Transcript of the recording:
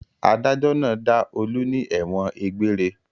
Adájọ́ náà dá Olú ní ẹ̀wọ̀n egbére.